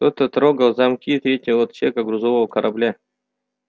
кто-то трогал замки третьего отсека грузового корабля